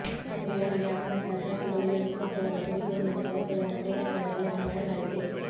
ರ್ಯಾಲಿಗೆ ಆಗಮಿಸಿದ ಅಭ್ಯರ್ಥಿಗಳಿಗಾಗಿ ಸೂಕ್ತವಾದ ಕುಡಿಯುವ ನೀರಿನ ವ್ಯವಸ್ಥೆಗಳನ್ನು ಕ್ರೀಡಾಂಗಣದ ಒಳಗೆ ಮಾಡಲಾಗಿದೆ